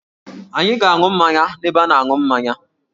Anyị ga-aṅụ mmanya n'ebe a na-aṅụ mmanya